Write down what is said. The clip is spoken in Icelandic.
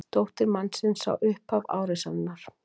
Dóttir mannsins sá upphaf árásarinnar